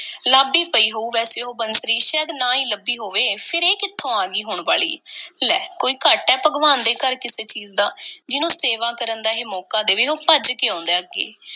ਲੱਭ ਈ ਪਈ ਹੋਊ ਵੈਸੇ ਉਹ ਬੰਸਰੀ, ਸ਼ਾਇਦ ਨਾ ਹੀ ਲੱਭੀ ਹੋਵੇ। ਫੇਰ ਇਹ ਕਿੱਥੋਂ ਆ ਗਈ, ਹੁਣ ਵਾਲੀ। ਲੈ ਕੋਈ ਘਾਟਾ ਏ ਭਗਵਾਨ ਦੇ ਘਰ ਕਿਸੇ ਚੀਜ਼ ਦਾ? ਜਿਹਨੂੰ ਸੇਵਾ ਕਰਨ ਦਾ ਇਹ ਮੌਕਾ ਦੇਵੇ, ਉਹ ਭੱਜ ਕੇ ਆਉਂਦਾ ਐ, ਅੱਗੇ।